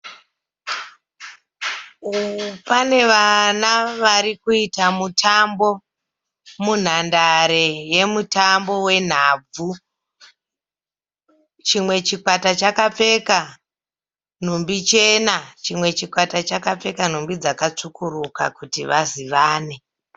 Pane vana vari kuita mutambo munhandare yemutambo wenhabvu. Chimwe chikwata chakapfeka nhumbi chena chimwe chikwata chakapfeka nhumbi dzakatsvukuruka kuti vazivane.